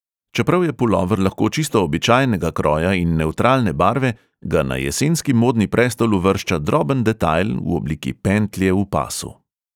Čeprav je pulover lahko čisto običajnega kroja in nevtralne barve, ga na jesenski modni prestol uvršča droben detajl v obliki pentlje v pasu.